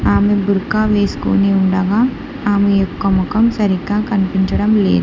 ఆమె బుర్కా వేసుకొని ఉండగా ఆమె యొక్క మొఖం సరిగ్గా కనిపించడం లేదు.